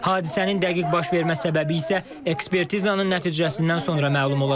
Hadisənin dəqiq baş vermə səbəbi isə ekspertizanın nəticəsindən sonra məlum olacaq.